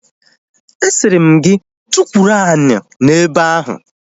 A sịrị m gị tukwuru ani n'ebe ahu!